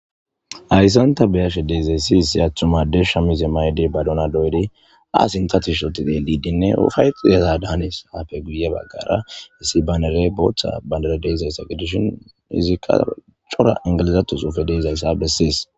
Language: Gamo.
Hayisan ta be'ashe dizayis issi atuma adey shamize mayidi baduna doyidinee sinithako shiqidi upayetiza danes issi banerey botha gidizaysa gidishin izi qase coora englizatho beses